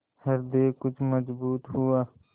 हृदय कुछ मजबूत हुआ